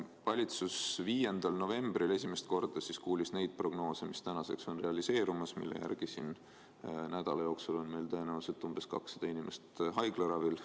Valitsus kuulis 5. novembril esimest korda neid prognoose, mis tänaseks on realiseerumas ja mille järgi nädala jooksul on meil tõenäoliselt umbes 200 inimest haiglaravil.